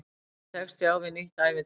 Kannski tekst ég á við nýtt ævintýri.